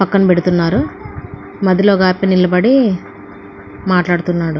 పక్కన పెడుతున్నారు. మధ్యలో ఒక అతను నిలబడి మాట్లాడుతున్నాడు.